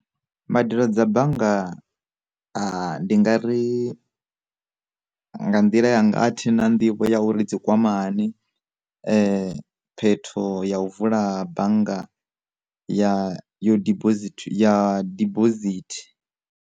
Mbadelo dza bannga ndi nga ri nga nḓila ya nga athi na nḓivho ya uri dzi kwama hani phetho ya u vula bannga ya yo dibosithi ya dibosithi.